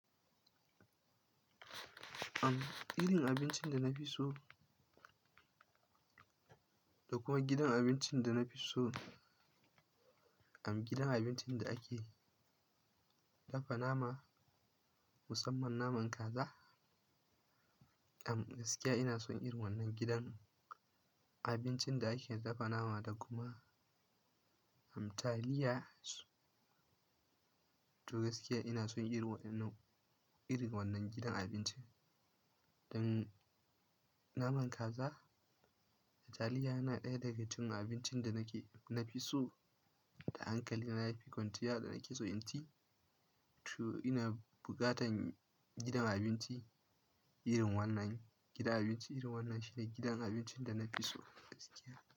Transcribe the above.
Am, irin abincin da na fi so, da kuma gidan abincin da na fi so, am, gidan abincin da ake dafa nama, musamman naman kaza. Am, gaskiya ina son irin wannan gidan abincin da ake dafa nama da kuma, am, taliya. To gaskiya ina son irin wannan, irin wannan gidan abincin. Dan naman kaza da taliya yana ɗaya daga cikin abincin da nake, na fi so da hankali na yafi kwanciya da nake so in ci. To ina bukatan gidan abinci irin wannan. Gidan abinci irin wannan shine gidan abincin da na fi so gaskiya.